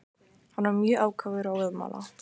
Hann var mjög ákafur og óðamála.